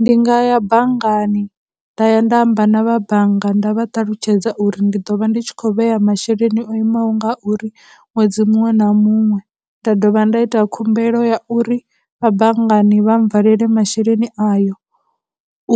Ndi nga ya banngani, nda ya nda amba na vha bannga nda vha ṱalutshedza uri ndi ḓo vha ndi tshi khou vhea masheleni o imaho nga uri ṅwedzi muṅwe na muṅwe, nda dovha nda ita khumbelo ya uri vha banngani vha mbvalele masheleni ayo